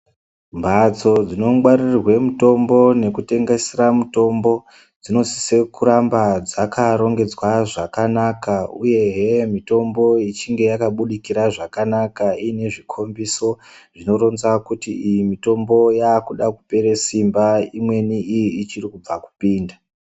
Mphatso dzinongwaririrwe mitombo nekutengesera mitombo ,dzinosise kuramba dzakarongedzwa zvakanaka, uyehe mitombo ichinge yakabudirira zvakanaka, iine zvikhombiso zvinoronza kuti ,iyi mitombo yaakuda kupere simba, imweni iyi ichiri kubva kupinda.